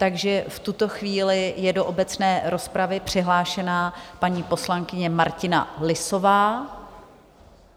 Takže v tuto chvíli je do obecné rozpravy přihlášená paní poslankyně Martina Lisová.